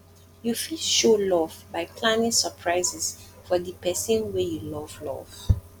you fit show love by planning surprises for di person wey you love love